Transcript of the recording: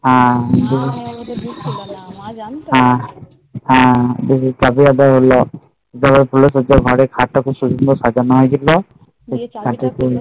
হম হম বলছিল ওদের ঘরের খাট তা কি সুন্দর সাজানো হৈছিল